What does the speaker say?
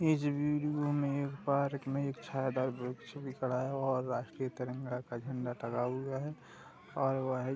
ये पार्क मे छायादार वृक्ष भी खड़ा है और राष्ट्र तिरंगा का झंडा लगा हुआ है और है --